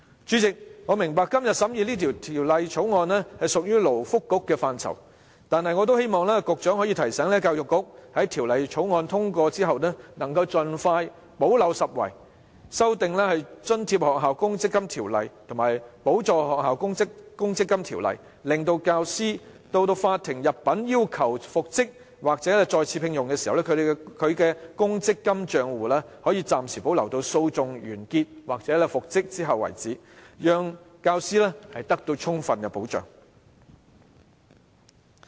主席，我明白今天審議的《條例草案》屬於勞工及福利局的範疇，但也希望局長可以提醒教育局，在《條例草案》通過後盡快補漏拾遺，修訂《津貼學校公積金規則》及《補助學校公積金規則》，令教師到法庭入稟要求復職或再次聘用時，他的公積金帳戶可獲暫時保留至訴訟完結或復職後為止，讓教師得到充分保障。